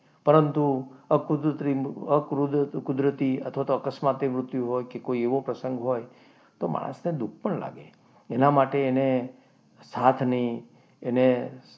પરંતુ અકુદરતી અથવા તો અકસ્માત થી મૃત્યુ હોય કે કોઈ એવો પ્રસંગ હોય તો માણસને દુઃખ પણ લાગે એના માટે એને એને સાથની એને,